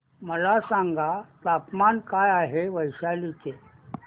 मला सांगा तापमान काय आहे वैशाली चे